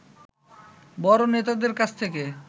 বড় নেতাদের কাছ থেকে